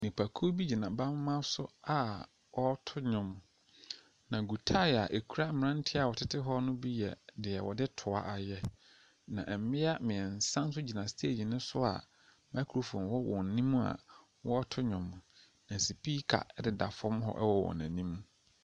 Nnipa bi gyina adwa bi mu. Maame bi ahyehyɛ ntaade bi wɔ fam. Ɛwɔ gata bi ɛho. Na akwadaa hyɛ maame no akyi. Na papa bi ayi ntaade bi akuta a ɔde ne nsa rekyerɛ deɛ akabi so.